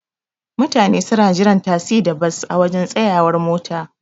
Mutane suna jiran tasi da Bas a waje tsayawar mota.